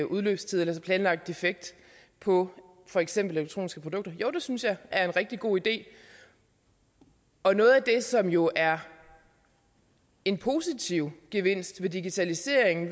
udløbstider eller planlagt defekt på for eksempel elektroniske produkter jo det synes jeg er en rigtig god idé og noget af det som jo er en positiv gevinst ved digitaliseringen